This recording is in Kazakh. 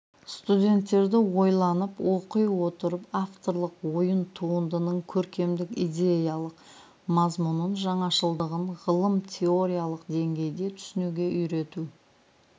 студенттерді ойланып оқи отырып авторлық ойын туындының көркемдік-идеялық мазмұнын жаңашылыдығын ғылым-теориялық деңгейде түсінуге үйрету